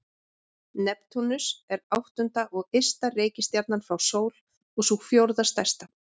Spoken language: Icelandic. Neptúnus er áttunda og ysta reikistjarnan frá sól og sú fjórða stærsta.